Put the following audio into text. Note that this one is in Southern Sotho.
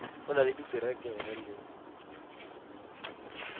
o na le diterekere le